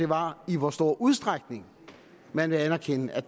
var i hvor stor udstrækning man vil anerkende og